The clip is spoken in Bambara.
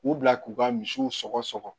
K'u bila k'u ka misiw sɔgɔ sɔgɔ